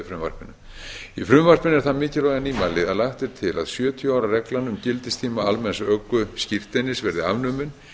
frumvarpinu í frumvarpinu er það mikilvæga nýmæli að lagt er til að sjötíu ára reglan um gildistíma almenns ökuskírteinis verði afnumin